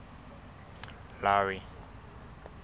larry